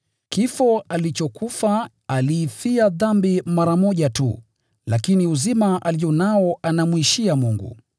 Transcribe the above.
Kifo alichokufa, aliifia dhambi mara moja tu, lakini uzima alio nao anamwishia Mungu.